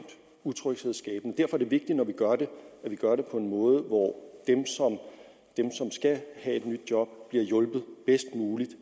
utryghedsskabende derfor er det vigtigt når vi gør det at vi gør det på en måde hvor dem som skal have et nyt job bliver hjulpet bedst muligt